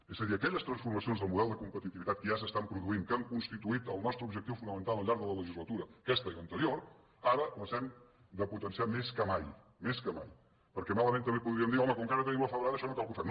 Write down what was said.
és a dir aquelles transformacions del model de competitivitat que ja s’estan produint que han constituït el nostre objectiu fonamental al llarg de la le·gislatura aquesta i l’anterior ara les hem de potenciar més que mai més que mai perquè malament també podríem dir home com que ara tenim la febrada això no cal que ho fem